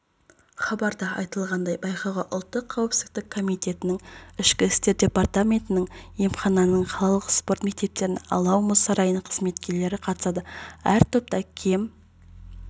хабарда айтылғандай байқауға ұлттық қауіпсіздік комитетінің ішкі істер департаментінің емхананың қаланың спорт мектептерінің алау мұз сарайының қызметкерлері қатысады әр топтан кем